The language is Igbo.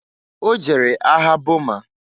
O jere agha Boma.